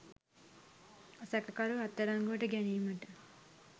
සැකකරු අත්අඩංගුවට ගැනීමට